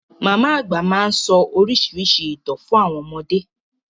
Màmá àgbà máa sọ oríṣiríṣi ìtàn fún àwọn ọmọdé.